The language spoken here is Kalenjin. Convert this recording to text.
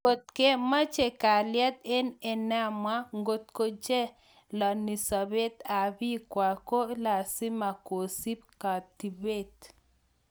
Ngot komeche galyet eng emenwa, ngotko chalani sabeet ab biik kwak ko lasima kosuub katibeet